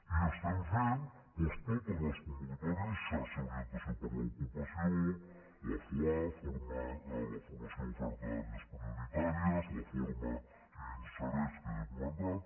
i estem fent doncs totes les convocatòries xarxa d’orientació per a l’ocupació la foap la formació d’oferta en àrees prioritàries la forma i insereix que ja he comentat